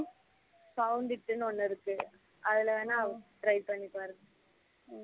Found it ஒண்ணு இருக்கு அதுல வேணா try பண்ணி பாருங்க